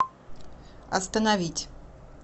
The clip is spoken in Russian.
остановить